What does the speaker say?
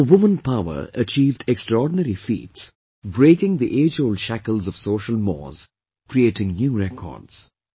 Our woman power achieved extraordinary feats, breaking the age old shackles of social mores, creating new records